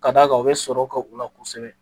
Ka d'a kan u be sɔrɔ k'u la kosɛbɛ